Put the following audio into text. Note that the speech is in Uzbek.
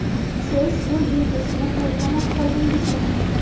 Siz yo‘l belgisini payqamay qoldingizmi?